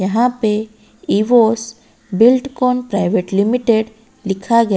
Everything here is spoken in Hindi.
यहां पे इवोस बिल्डकॉन प्राइवेट लिमिटेड लिखा गया--